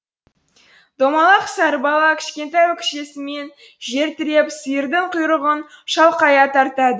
домалақ сары бала кішкентай өкшесімен жер тіреп сиырдың құйрығын шалқая тартады